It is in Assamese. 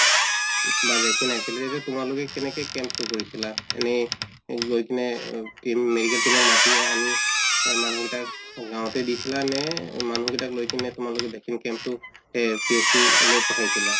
বা vaccine আছিলে তোমালোকে কেনেকে camp তো কৰিছিলা এনে গৈ কিনে medical team ক মাতি আহা নি নে মানুহ কেইটাক গাওঁতে দিছিলা নে মানুহ কেইটাক লৈ কিনে তোলালোকে vaccine camp তো পথাইছিলা?